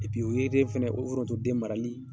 o yiriden fana o forontoden marali